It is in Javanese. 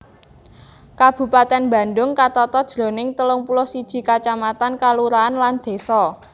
Kabupatèn Bandhung katata jroning telung puluh siji kacamatan kalurahan lan désa